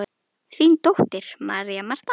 Þín dóttir, María Marta.